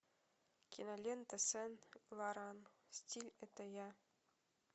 кинолента сен лоран стиль это я